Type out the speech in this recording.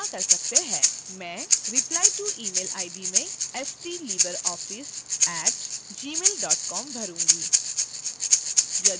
मैं replyto email id में stlibreoffice @gmail com भरूंगी